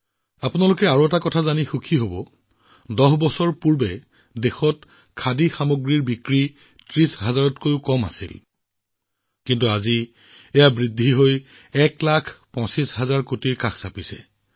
আপোনালোকক আৰু এটা কথা জনাব বিচাৰিছো যত দহ বছৰৰ আগতে দেশত খাদী সামগ্ৰীৰ বিক্ৰী প্ৰায় ৩০হাজাৰ কোটি টকাতকৈ কম আছিল এতিয়া এয়া প্ৰায় ১২৫ লাখ কোটি টকালৈ বৃদ্ধি পাইছে